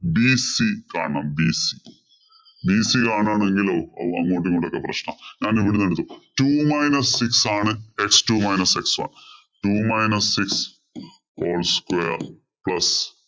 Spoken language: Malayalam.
bc കാണണം. bcbc കാണാണെങ്കിലോ ഹോ അങ്ങോട്ടും ഇങ്ങോട്ടും ഒക്കെ പ്രശ്നാ. ഞാന് ഇവിടന്ന് എടുത്തു two minus six ആണ് x two minus x one